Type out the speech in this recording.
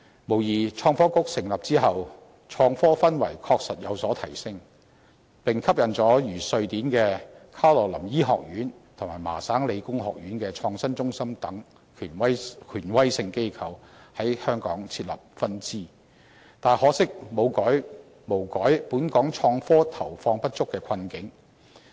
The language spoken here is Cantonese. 無疑，在創新及科技局成立後，創科氛圍確實有所提升，並吸引了如瑞典的卡羅琳醫學院和麻省理工學院的創新中心等權威性機構在香港設立分支，可惜卻無改本港創科投放不足的困境。